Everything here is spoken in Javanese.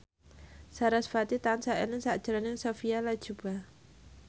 sarasvati tansah eling sakjroning Sophia Latjuba